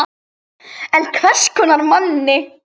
En hvers konar manni?